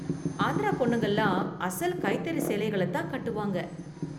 ஆந்திரா பொண்ணுங்கலாம் அசல் கைத்தறி சேலைகள தான் கட்டுவாங்க.